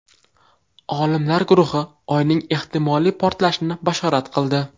Olimlar guruhi Oyning ehtimoliy portalishini bashorat qildi.